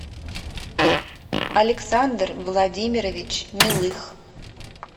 александр владимирович милых